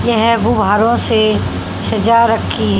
यह गुब्बारों से सजा रखी--